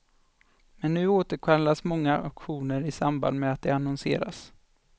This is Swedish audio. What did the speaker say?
Men nu återkallas många auktioner i samband med att de annonseras.